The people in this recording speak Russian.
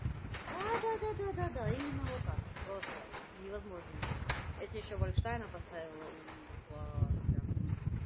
да-да-да имена вот так просто если ещё больше она поставила